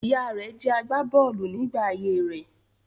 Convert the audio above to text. Ìyá rẹ̀ jẹ́ agbà bọ́ọ̀lù nígbà ayé rẹ̀.